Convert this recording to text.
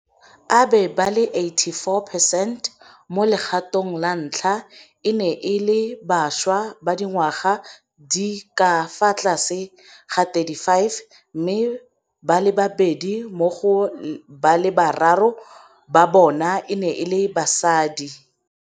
abe ba le 84 percent mo legatong la ntlha e ne e le bašwa ba dingwaga tse di ka fa tlase ga 35, mme ba le babedi mo go ba le bararo ba bona e ne e le basadi.